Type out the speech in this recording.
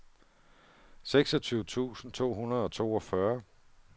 seksogtyve tusind to hundrede og toogfyrre